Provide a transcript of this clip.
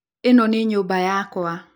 Ĩno nĩ nyũmba yakwa